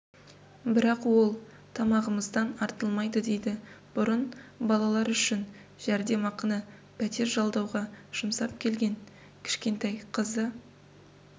бірақ ол тамағымыздан артылмайды дейді бұрын балалар үшін жәрдемақыны пәтер жалдауға жұмсап келген кішкентай қызы